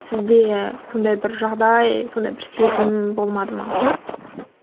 сізде бір сондай жағдай сондай бір сезім болмады ма